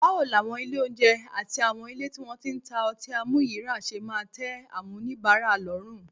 Báwo làwọn ilé oúnjẹ àtàwọn ilé tí wọ́n ti ń ta ọtí àmuyíràá ṣe máa tẹ́ àwọn oníbàárà lọ́rùn?